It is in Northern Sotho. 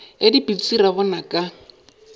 ke dipitsi ra bona ka